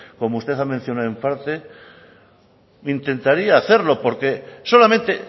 como usted ha mencionado en parte intentaría hacerlo porque solamente